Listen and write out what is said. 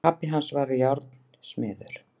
Pabbi hans var járnsmiður.